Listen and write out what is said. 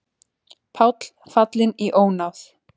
Páll fallinn í ónáð